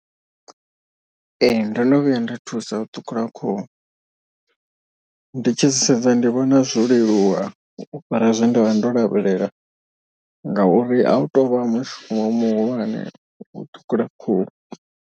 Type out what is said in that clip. Ee ndono vhuya nda thusa u ṱhukhula khuhu. Ndi tshi zwi sedza ndi vhona zwo leluwa u fhira zwe nda vha ndo lavhelela ngauri a hu tovha mushumo muhulwane u ṱhukhula khuhu.